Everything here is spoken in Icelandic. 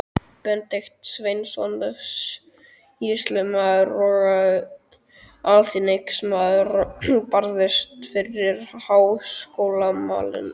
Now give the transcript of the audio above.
Benedikt Sveinsson, sýslumaður og alþingismaður, barðist fyrir háskólamálinu.